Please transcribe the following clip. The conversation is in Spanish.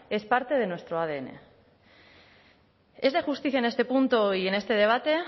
es parte de nuestro adn es de justicia en este punto y en este debate